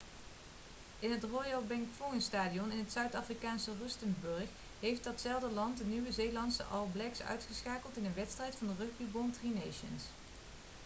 in het royal bafokeng stadium in het zuid-afrikaanse rustenburg heeft datzelfde land de nieuw-zeelandse all blacks uitgeschakeld in een wedstrijd van de rugbybond tri nations